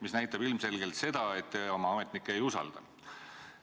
See näitab ilmselgelt seda, et te oma ametnikke ei usalda.